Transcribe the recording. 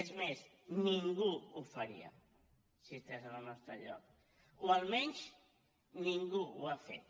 és més ningú ho faria si estigués en el nostre lloc o almenys ningú ho ha fet